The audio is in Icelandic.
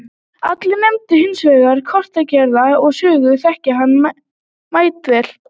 Allir nefndu hins vegar korktrekkjara og sögðust þekkja hann mætavel.